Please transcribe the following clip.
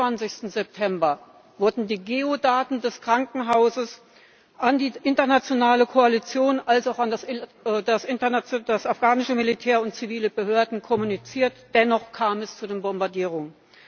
29. September wurden die Geo Daten des Krankenhauses sowohl an die internationale Koalition als auch an das afghanische Militär und zivile Behörden kommuniziert, dennoch kam es zu den Bombardierungen.